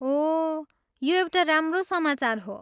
ओह, यो एउटा राम्रो समाचार हो।